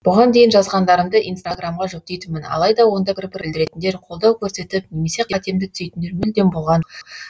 бұған дейін жазғандарымды инстаграмға жүктейтінмін алайда онда пікір білдіретіндер қолдау көрсетіп немесе қатемді түзейтіндер мүлдем болған